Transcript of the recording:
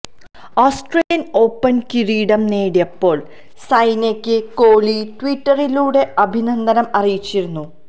Australian Open കിരീടം നേടിയപ്പോൾ സൈനയ്ക്ക് കോഹ്ലി ട്വിറ്ററിലൂടെ അഭിനന്ദനം അറിയിച്ചിരുന്നു